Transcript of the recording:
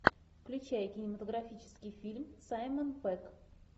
включай кинематографический фильм саймон пегг